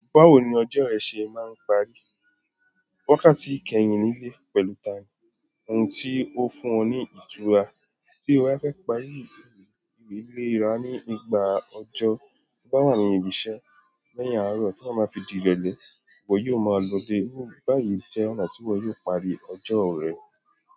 Báwo ni ọjọ́ rẹ ṣe máa ń parí? Wakáti kẹ́yìn nílé pẹ̀lú ta ni, ohun tí ó fún ọ ní ìtura, tí o bá fẹ́ parí ìwé ilé ra ní ìgbà ọjọ́, tí o bá wà ní ibi-iṣẹ́, lẹ́hìn àárọ̀ tí o ba máa fi di ìrọ̀lẹ́, ìwọ yóò máa lo dé. Bí báyìí jẹ́ ọ̀nà tí ìwọ yóò parí ọjọ́ rẹ.